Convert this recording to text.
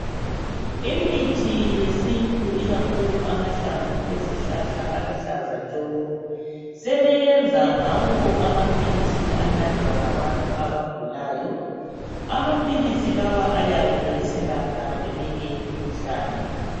Imithi yesintu ikakhulu amahlamvu ezihlahla aluhlaza tshoko. Sebeyenza ngawo amaphilisi anathwa ngabantu abagulayo. Amaphilisi lawa ayabe eselapha eminye imikhuhlane.